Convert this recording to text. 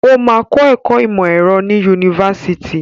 Ó máa kọ́ ẹ̀kọ́ ìmọ̀ ẹ̀rọ ní yunifásitì.